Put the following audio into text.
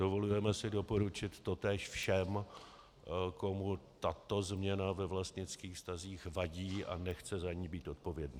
Dovolujeme si doporučit totéž všem, komu tato změna ve vlastnických vztazích vadí a nechce za ni být odpovědný.